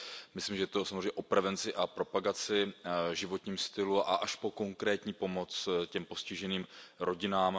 Myslím, že je to samozřejmě o prevenci a propagaci, životním stylu a i o konkrétní pomoci těm postiženým rodinám.